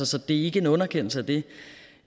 så det er ikke en underkendelse af det